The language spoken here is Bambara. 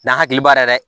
N'a hakili b'a la yɛrɛ